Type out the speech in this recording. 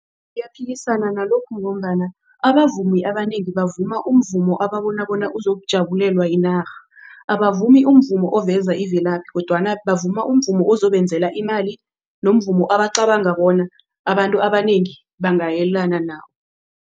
Ngiyaphikisana nalokhu ngombana abavumi abanengi bavuma umvumo ababona bona uzokujabulelwe yinarha. Abavumi umvumo oveza imvelaphi kodwana bavuma umvumo ozokwenzela imali nomvumo abacabanga bona abantu abanengi bangayelana nawo.